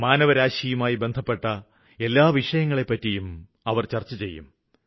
മാനവസമൂഹമുമായി ബന്ധപ്പെട്ട എല്ലാ വിഷയങ്ങളെപ്പറ്റിയും ചര്ച്ചചെയ്യും